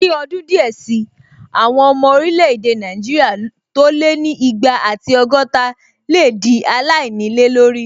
Ní ọdún díẹ̀ sí, àwọn ọmọ orílẹ̀-èdè Nàìjíríà tó lé ní igba ati ọgọ́ta lè dí aláìnílé lórí